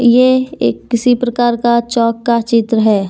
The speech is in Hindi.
ये एक किसी प्रकार का चौक का चित्र है।